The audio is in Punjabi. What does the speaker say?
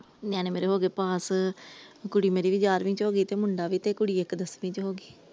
ਨਿਆਣੇ ਮੇਰੇ ਹੋਗੇ ਪਾਸ ਕੁੜੀ ਮੇਰੀ ਗਿਆਰਵੀ ਚ ਹੋਗੀ ਤੇ ਮੁੰਡਾ ਵੀ ਕੁੜੀ ਇਕ ਦੱਸਵੀ ਚ ਹੋਗੀ ।